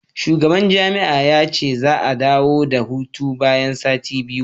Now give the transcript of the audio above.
shugaban jami'a ya ce za a dawo daga hutu bayan sati biyu